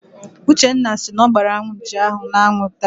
Uchenna si na ọ gbaara anụ nchi ahụ n'anwụ taa.